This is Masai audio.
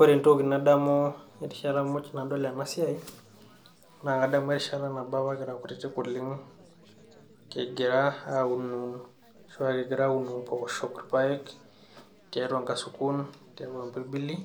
Ore entoki nadamu erishata muj nadol ena siai naa kadamu erishata nabo apa kira kutitik oleng kigira aunun ashua kigira aun impooshok orpaek tiatua inkasukun tiatua impirbili